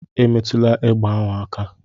Emetụla egbe ahụ aka!